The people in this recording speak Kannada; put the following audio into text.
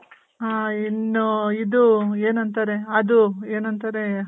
ಆ , ಇನ್ನು ಇದು ಏನಂತಾರೆ ಅದು ಏನಂತಾರೆ